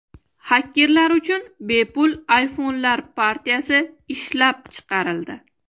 Xakerlar uchun bepul iPhone’lar partiyasi ishlab chiqarildi.